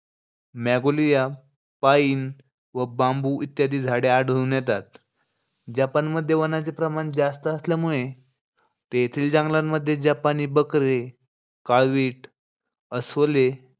Magnolia, pine व bamboo इत्यादी झाडे आढळून येतात. जपानमध्ये वनांचे प्रमाण जास्त असल्यामुळे तेथील जंगलांमध्ये जपानी बकरे, काळवीट अस्वले,